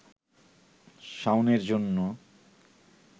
শাওনের জন্য